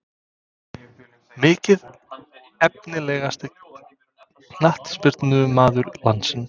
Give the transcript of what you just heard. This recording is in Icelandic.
Mikið Efnilegasti knattspyrnumaður landsins?